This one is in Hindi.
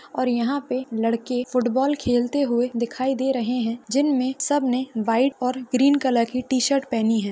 और यहाँ पे लड़के फूटबॉल खेलते हुए दिखाई दे रहे है जिनमे सबने वाईट और ग्रीन कलर की टी शर्ट पहनी है।